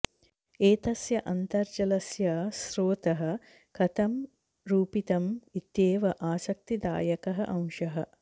एतस्य अन्तर्जलस्य स्रोतः कथं रूपितम् इत्येव आसक्तिदायकः अंशः